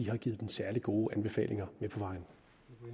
har givet den særlig gode anbefalinger